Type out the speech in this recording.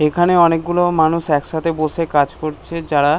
এখানে অনেকগুলো মানুষ একসাথে বসে কাজ করছে যারা--